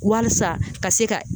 Walisa ka se ka